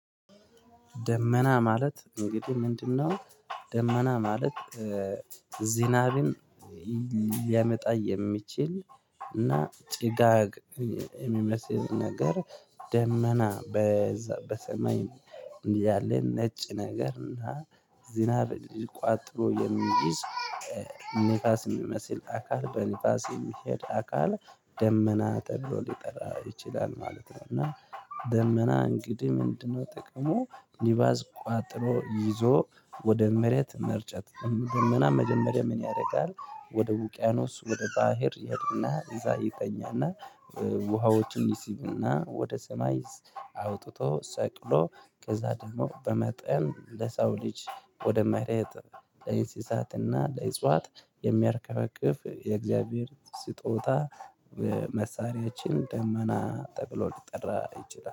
ደመና ማለት እንግዲህ ምንድነው ደመና ማለት? ዚናቢን ሊያመጣ የሚችል እና ጭጋግ የሚመስል ነገር ደመና በዛ በሰማይ እንዲህ ያለን ነጭ ነገር እና ዚናብ ቋጥሮ የሚይዝ ንፋስ የሚመስል አካል በንፋስ የሚሄድ አካል ደመና ተብሎ ሊጠራ ይችላል ማለት ነው። እና ደመና እንግዲህ ምንድነው? ጥቅሙ ኒባዝ ቋጥሮ ይዞ ወደ መሬት መርጨት ደመና መጀመሪያ ምን ያደርጋል ወደ ውቅያኖስ ወደ ባህር ይሄድና እዛ ይተኛና ውሃዎችን ይሲብና ወደ ሰማይ አውጥቶ ሰቅሎ ከዛ ደግሞ በመጠን ለሰው ልጅ ወደ መሬት ለእንስሳትና ለእጽዋት የሚያርከፈክፍ የእግዚአብሔር ስጦታ። መሳሪያችን ደመና ጠብሎ ሊጠራ ይችላል